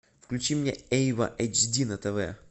включи мне эйва эйч ди на тв